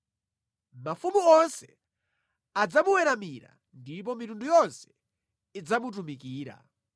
Mafumu onse adzamuweramira ndipo mitundu yonse idzamutumikira.